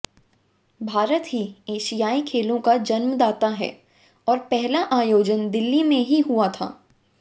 भारत ही एशियाई खेलों का जन्मदाता है और पहला आयोजन दिल्ली में ही हुआ था